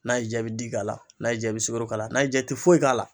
N'a y'i ja i bi di k'a la n'a y'i ja bi sukoro k'a la n'a y'i ja i ti foyi k'a la.